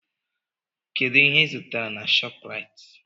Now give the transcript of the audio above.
Kedụ ihe ịzụtara na Shọpraịt?